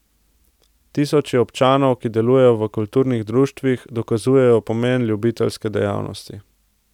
Tisoči občanov, ki delujejo v kulturnih društvih, dokazujejo pomen ljubiteljske dejavnosti.